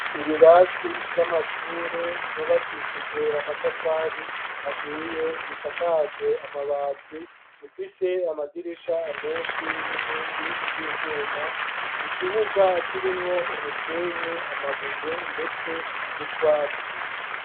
Ibirasi vy'amashure vyubakishijwe amatafari ahiye bisakajwe amabati bifise amadirisha menshi n'inkingi z'ivyuma, ikibuga kirimwo umusenyi, amabuye, ndetse n'utwatsi.